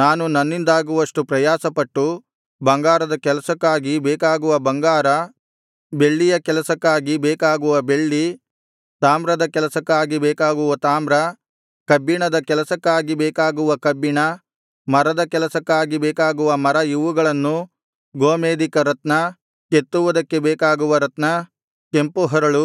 ನಾನು ನನ್ನಿಂದಾಗುವಷ್ಟು ಪ್ರಯಾಸಪಟ್ಟು ಬಂಗಾರದ ಕೆಲಸಕ್ಕಾಗಿ ಬೇಕಾಗುವ ಬಂಗಾರ ಬೆಳ್ಳಿಯ ಕೆಲಸಕ್ಕಾಗಿ ಬೇಕಾಗುವ ಬೆಳ್ಳಿ ತಾಮ್ರದ ಕೆಲಸಕ್ಕಾಗಿ ಬೇಕಾಗುವ ತಾಮ್ರ ಕಬ್ಬಿಣದ ಕೆಲಸಕ್ಕಾಗಿ ಬೇಕಾಗುವ ಕಬ್ಬಿಣ ಮರದ ಕೆಲಸಕ್ಕಾಗಿ ಬೇಕಾಗುವ ಮರ ಇವುಗಳನ್ನೂ ಗೋಮೇಧಿಕ ರತ್ನ ಕೆತ್ತುವುದಕ್ಕೆ ಬೇಕಾಗುವ ರತ್ನ ಕೆಂಪು ಹರಳು